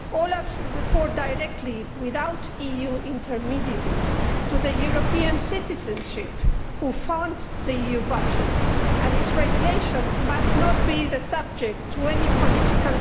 OLAF should report directly, without EU intermediaries, to the European citizens who fund the EU budget, and its regulation must not be subject to any politics.